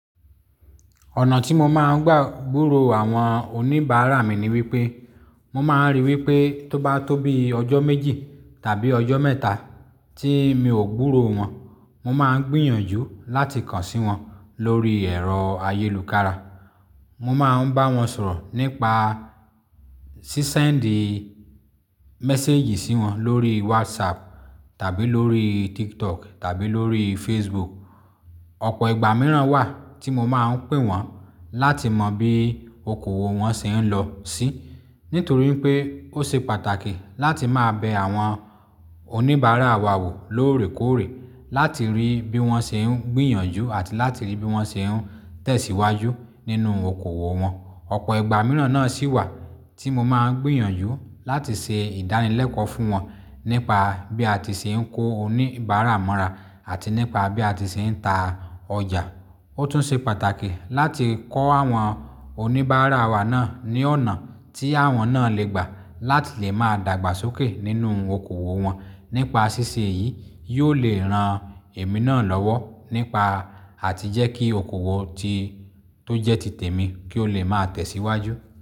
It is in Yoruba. Ọ̀nà tí mo máa ń gbà búro àwọn oníbàárà mi ni wípé, mo máa ń rí wípé tó bá tóbi ọjọ́ méjì tàbí ọjọ́ mẹ́ta tí mi ò gbúro wọn, mo máa ń gbìyànjú láti kàn sí wọn lórí ẹ̀rọ ayélùkára. Mo máa ń bá wọn sọ̀rọ̀ nípa sísẹ́ǹdì méséjì sí wọn lórí WhatsApp tàbí lórí TikTok tàbí lórí Facebook. Ọ̀pọ̀ ìgbà mìíràn wà tí mo máa ń pè wọ́n láti mọ bí okòwò wọn ṣe ń lọ sí. Nítorí pé ó ṣe pàtàkì láti máa bẹ àwọn oníbàárà wa wò lóòrèkóòrè láti rí bí wọ́n ṣe ń gbìyànjú àti láti rí bí wọ́n ṣe ń tẹ̀síwájú nínú okòwò wọn. Ọ̀pọ̀ ìgbà mìíràn náà sì wà tí mo máa ń gbìyànjú láti ṣe ìdánilẹ́kọ̀ọ́ fún wọn nípa bí a ti ṣe ń ko oníbàárà mọ́ra àti nípa bí a ti ṣe ń ta ọjà. Ó tún ṣe pàtàkì láti kọ́ àwọn oníbàárà wa náà ní ọ̀nà tí àwọn náà lè gbà láti lè máa dàgbàsókè nínú okòwò wọn. Nípa ṣíṣe yìí, yóò lè ran èmi náà lọ́wọ́ nípa àti jẹ́ kí okòwò tí tó jẹ́ ti tèmi kí ó lè máa tẹ̀síwájú.